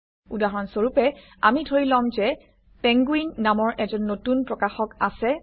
উদাহৰণ স্বৰূপে আমি ধৰি লম যে পেংগুইন নামৰ এজন নতুন প্ৰকাশক আছে